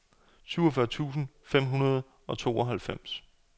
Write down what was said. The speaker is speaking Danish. syvogfyrre tusind fem hundrede og tooghalvfems